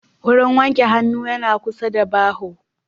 Wurin wanke hannu yana kusa da baho